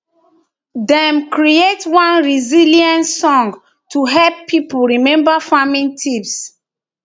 dem create one resilience song to help people remember farming tips